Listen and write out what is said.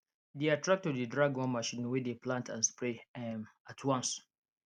their tractor dey drag one machine wey dey plant and spray um at once